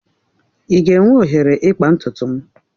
I ga-enwe oghere ịkpa ntutu m?